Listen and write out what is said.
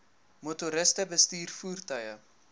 motoriste bestuur voertuie